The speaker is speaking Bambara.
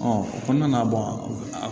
o kɔnɔna na